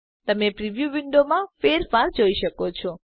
તમે પ્રિવ્યુ વિન્ડોમાં ફેરફાર જોઈ શકો છો